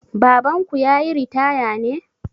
Babanku ya yi ritaya ne?